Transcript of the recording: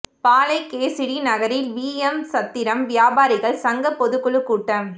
பாளை KTC நகரில் VM சத்திரம் வியாபாரிகள் சங்க பொதுக்குழு கூட்டம்